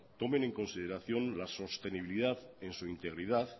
tomen en consideración la sostenibilidad en su integridad